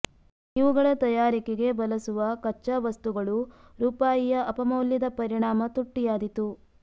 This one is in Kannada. ಇವುಗಳ ತಯಾರಿಕೆಗೆ ಬಲಸುವ ಕಚ್ಚಾ ವಸ್ತುಗಳು ರೂಪಾಯಿಯ ಅಪಮೌಲ್ಯದ ಪರಿಣಾಮ ತುಟ್ಟಿಯಾದೀತು